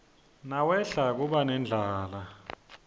nawehla kuba nendlala